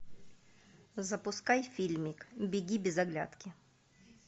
запускай фильмик беги без оглядки